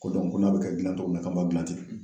Ko ko n'a bɛ ka gilan cogo min na k'a b'a gilan ten